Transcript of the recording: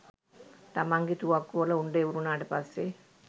තමන්ගෙ තුවක්කුවල උණ්ඩ ඉවර උනාට පස්සෙ